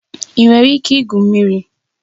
Ị nwere ike igwu mmiri?